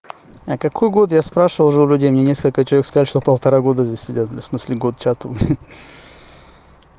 а какой год я спрашивал уже у людей мне несколько человек сказали что полтора года здесь сидят в смысле год чату блин